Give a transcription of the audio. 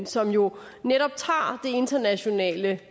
som jo netop tager det internationale